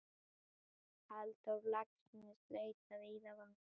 Halldór Laxness leitaði víða fanga.